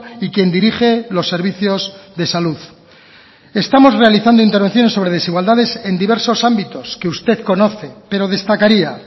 y quien dirige los servicios de salud estamos realizando intervenciones sobre desigualdades en diversos ámbitos que usted conoce pero destacaría